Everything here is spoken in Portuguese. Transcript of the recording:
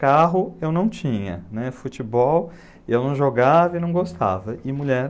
Carro eu não tinha, futebol eu não jogava e não gostava, e mulher...